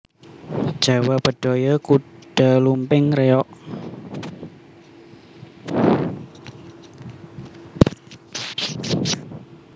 Jawa Bedhaya Kuda Lumping Reog